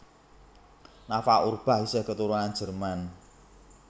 Nafa Urbach isih keturunan Jerman